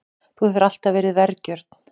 Þú hefur alltaf verið vergjörn.